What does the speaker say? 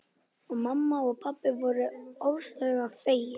Og mamma og pabbi voru ofboðslega fegin.